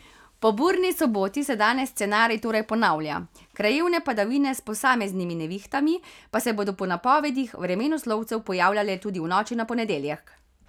Po burni soboti se danes scenarij torej ponavlja, krajevne padavine s posameznimi nevihtami pa se bodo po napovedih vremenoslovcev pojavljale tudi v noči na ponedeljek.